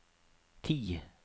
ti